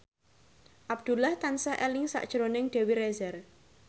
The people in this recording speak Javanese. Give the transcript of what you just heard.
Abdullah tansah eling sakjroning Dewi Rezer